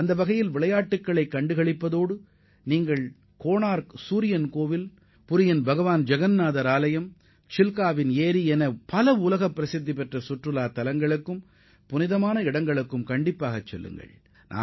அங்குள்ள உலகப் புகழ்பெற்ற புண்ணிய தலங்களான கொனார்க் சூரிய கோவில் பூரி ஜெகன்னாதர் ஆலயம் மற்றும் சில்கா ஏரி போன்றவற்றுடன் விளையாட்டுப் போட்டிகளையும் கண்டு மகிழலாம்